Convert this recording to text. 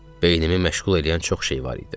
Beynimi məşğul eləyən çox şey var idi.